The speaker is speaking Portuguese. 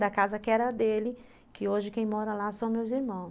Da casa que era dele, que hoje quem mora lá são meus irmãos.